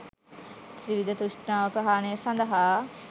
ත්‍රිවිධ තෘෂ්ණාව ප්‍රහාණය සඳහා